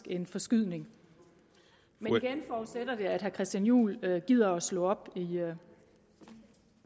en forskydning men igen forudsætter vi at herre christian juhl gider slå op i